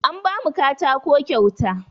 An ba mu katako kyauta.